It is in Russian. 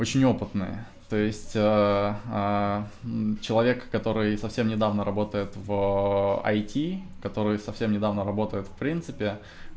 очень опытные то есть человек который совсем недавно работает в айти который совсем недавно работает в принципе